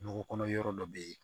Kungo kɔnɔ yɔrɔ dɔ bɛ yen